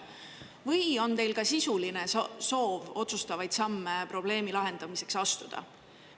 Või on teil ka sisuline soov otsustavaid samme probleemi lahendamiseks astuda?